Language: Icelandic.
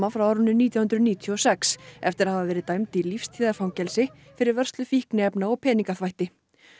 frá árinu nítján hundruð níutíu og sex eftir að hafa verið dæmd í lífstíðarfangelsi fyrir vörslu fíkniefna og peningaþvætti